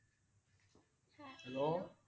Hello